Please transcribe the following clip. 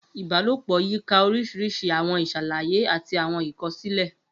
Ibalopo yika orisirisi àwọn iṣalaye ati àwọn ikosile.